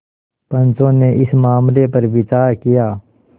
पंचो ने इस मामले पर विचार किया